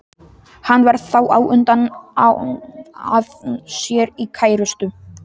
Hann varð þá á undan að ná sér í kærustu.